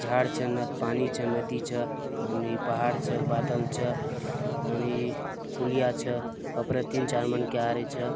झाड़ च पानी च नदी च पहाड़ च बदल च तनी पुलिया च ऊपर तीन चार मन आ रहा च।